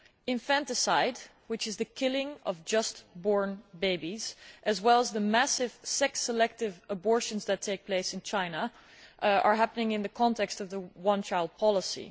Infanticide, which is the killing of newborn babies, as well as the massive sex selective abortions that take place in China, are happening in the context of the one child policy.